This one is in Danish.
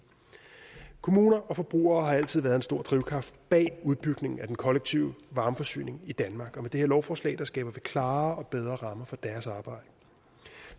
kommuner og forbrugere har altid været en stor drivkraft bag udbygningen af den kollektive varmeforsyning i danmark og med det her lovforslag skaber vi klarere og bedre rammer for deres arbejde